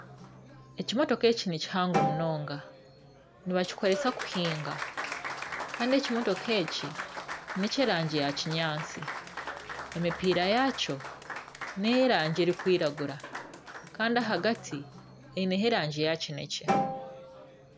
Ekimotoka eki nikihango munonga. Nibakoresa kuhiinga Kandi ekimotoka eki ni eky'erangi ya kinyaatsi. Emipiira yakyo ni ey'erangi erikwiragura Kandi ahagati eine ho erangi ya kinekye.